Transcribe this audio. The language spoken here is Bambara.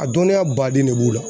A dɔnniya baden ne b'u la